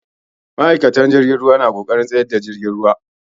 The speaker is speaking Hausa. Ma'aikatan jirgin ruwa na ƙoƙarin tsayar da jirgin ruwa.